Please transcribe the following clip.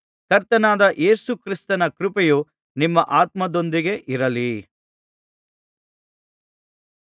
ಕರ್ತನಾದ ಯೇಸು ಕ್ರಿಸ್ತನ ಕೃಪೆಯು ನಿಮ್ಮ ಆತ್ಮದೊಂದಿಗೆ ಇರಲಿ